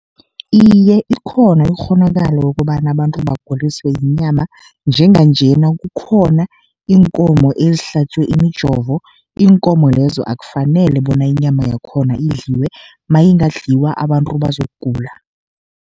Iye, ikhona ikghonakalo yokobana abantu baguliswe yinyama, njenganjena kukhona iinkomo ezihlatjwe imijovo. Iinkomo lezo akufanele bona inyama yakhona idliwe, mayingandliwa abantu bazokugula.